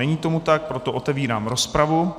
Není tomu tak, proto otevírám rozpravu.